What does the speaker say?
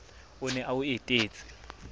o ne a o etetse